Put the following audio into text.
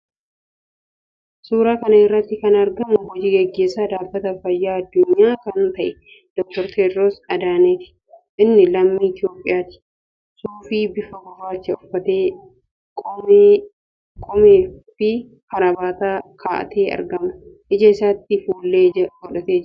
Suuraa kana irratti kan argamu hoji-gaggeessaa Dhaabbata Fayyaa Addunyaa kan ta'e Dr. Tewoodiroos Adihaanoomiidha. Innis lammii Itiyoophiyaati. Suufii bifa gurraachaa uffatee, qomeefi kaarabaata ka'atee argama. Ija isaatti fuullee ijaa godhatee jira.